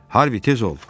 Harvi, tez ol!